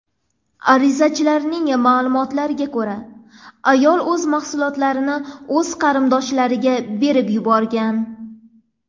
Arizachilarning ma’lumotlariga ko‘ra, ayol mahsulotlarni o‘z qarindoshlariga berib yuborgan.